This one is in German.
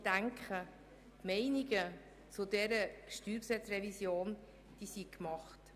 Ich denke, die Meinungen zu dieser StG-Revision sind gemacht.